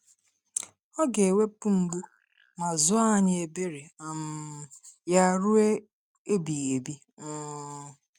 Ọ ga-ewepụ mgbu ma zuo anyị ebere um Ya ruo mgbe ebighị ebi. um